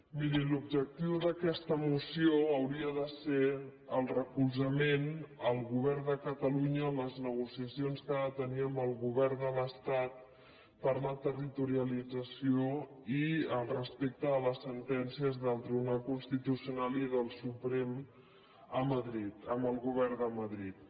miri l’objectiu d’aquesta moció hauria de ser el recol·zament al govern de catalunya en les negociacions que ha de tenir amb el govern de l’estat per la terri·torialització i el respecte a les sentències del tribunal constitucional i del suprem a madrid amb el govern de madrid